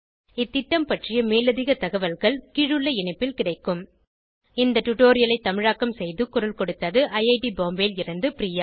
இந்த திட்டம் பற்றிய மேலதிக தகவல்கள் கீழுள்ள இணைப்பில் கிடைக்கும் httpspoken tutorialorgNMEICT Intro இந்த டுடோரியலை தமிழாக்கம் செய்து குரல் கொடுத்தது ஐஐடி பாம்பேவில் இருந்து பிரியா